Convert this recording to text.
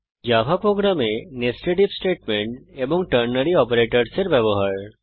Java প্রোগ্রামে nested if statement এবং ternary অপারেটরসহ এর ব্যবহার